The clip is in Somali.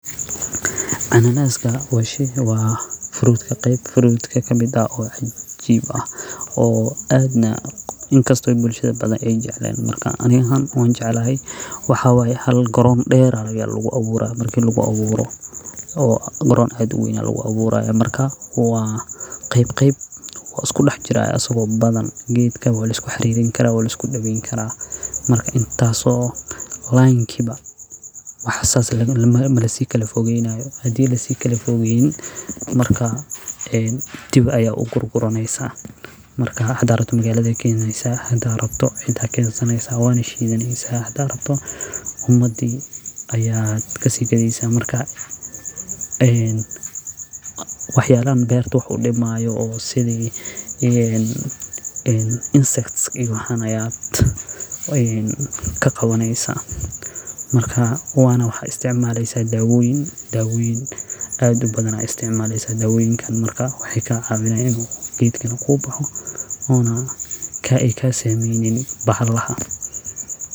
Ananaska wa sheeyga waa fruit ka qayb fruit ka kabidaa oo ajeeb ah oo aadna in kastoo bulshada badan ay jecleyn. Markaan ani aa han ujeeclahay waxaa waay hal garoon dheera lagaa lagu abuuray markii lagu abuuro oo garoon adi igu weyn lagu abuuray. Markaa waa qayb qayb. Wa isku dhex jiray asagoo badan giitka weli isku xiriirin kara weli isku dhabiin karaa. Marka intaaso la inkiiba ma xasaas la lama malasi kale fogeeynaayo. Hadii la sii kale fugeyn markaa een dib u gur guraneysaa, markaa hada rabto magaala keeneysa hada arabto inta keenso neyso waan ishiinaneysaa hada rabto umadii ayaa ka sii kadeysa markaa een. Waxyaabaha beer tuhun dhimaayo oo sidi in insects igu hanayaad oo een ka qowneysaa markaa waana waxa isticmaalaysa daawoin. Daawoini aad u badanaa isticmaalaysa daawoinkan. Markaa wixii kaa caawinaynu giitkana ku buuxo. Oona ka ikka sameynin bahadlaha.